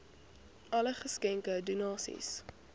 alle geskenke donasies